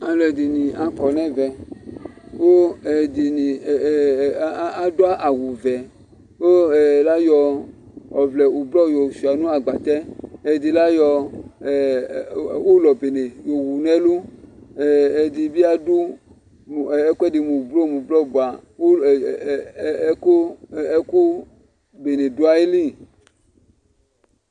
alò ɛdini akɔ n'ɛvɛ kò ɛdini adu awu vɛ kò la yɔ ɔvlɛ ublɔ yɔ sua no agbatɛ ɛdi la yɔ ulɔ bene yo wu n'ɛlu ɛdi bi adu ɛkò ɛdi mò ublɔ mo ublɔ boa ulɔ ɛkò bene do ayili